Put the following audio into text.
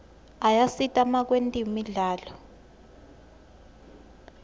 ayasita makwetemidlalo